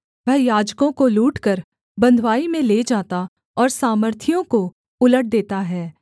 वह याजकों को लूटकर बँधुआई में ले जाता और सामर्थियों को उलट देता है